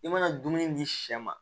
I mana dumuni di sɛ ma